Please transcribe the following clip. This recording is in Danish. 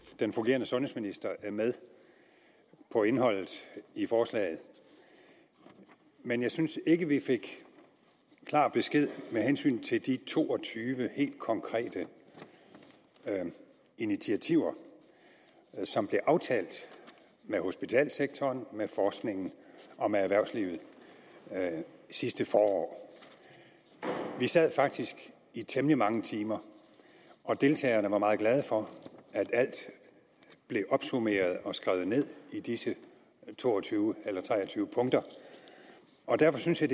den fungerende sundhedsminister er med på indholdet i forslaget men jeg synes ikke at vi fik klar besked med hensyn til de to og tyve helt konkrete initiativer som blev aftalt med hospitalssektoren med forskningen og med erhvervslivet sidste forår vi sad faktisk i temmelig mange timer og deltagerne var meget glade for at alt blev opsummeret og skrevet ned i disse to og tyve eller tre og tyve punkter derfor synes jeg